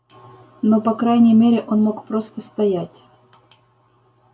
но по крайней мере он мог просто стоять